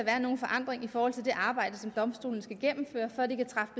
nogen forandring i forhold til det arbejde som domstolene skal gennemføre før de kan træffe